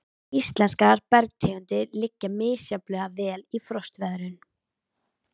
Íslenskar bergtegundir liggja misjafnlega vel við frostveðrun.